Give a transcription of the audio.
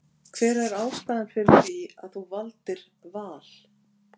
Hver er ástæðan fyrir því að þú valdir Val?